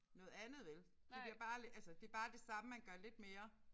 Noget andet vel det bliver bare altså det bare det samme man gør lidt mere